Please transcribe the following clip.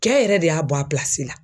Kɛ yɛrɛ de y'a bɔ a la.